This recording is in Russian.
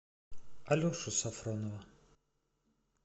алешу сафронова